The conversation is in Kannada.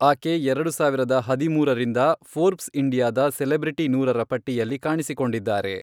ಆಕೆ ಎರಡು ಸಾವಿರದ ಹದಿಮೂರರಿಂದ ಫೋರ್ಬ್ಸ್ ಇಂಡಿಯಾದ ಸೆಲೆಬ್ರಿಟಿ ನೂರರ ಪಟ್ಟಿಯಲ್ಲಿ ಕಾಣಿಸಿಕೊಂಡಿದ್ದಾರೆ.